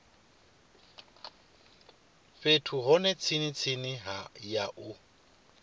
fhethu hune mitshini ya u